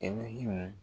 E ne him